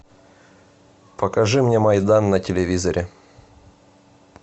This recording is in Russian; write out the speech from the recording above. покажи мне майдан на телевизоре